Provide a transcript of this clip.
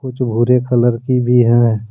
कुछ भूरे कलर की भी है।